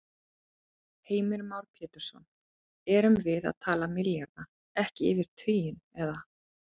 Heimir Már Pétursson: Erum við að tala milljarða, ekki yfir tuginn, eða?